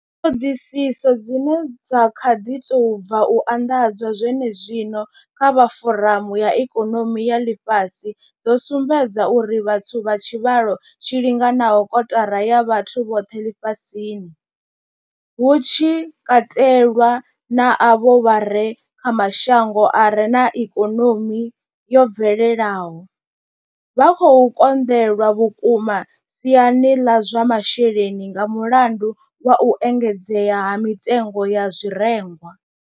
Ṱhoḓisiso dzine dza kha ḓi tou bva u anḓadzwa zwenezwino dza vha foramu ya ikonomi ya ḽifhasi dzo sumbedza uri vhathu vha tshivhalo tshi linganaho kotara ya vhathu vhoṱhe ḽifhasini, hu tshi katelwa na avho vha re kha mashango a re na ikonomi yo bvelelaho, vha khou konḓelwa vhukuma siani ḽa zwa masheleni nga mulandu wa u engedzea ha mitengo ya zwirengwa.